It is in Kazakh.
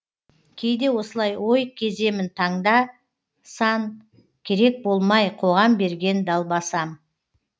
кейде осылай ой кеземін таңда сан керек болмай қоғам берген далбасам